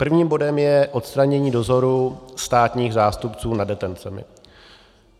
Prvním bodem je odstranění dozoru státních zástupců nad detencemi.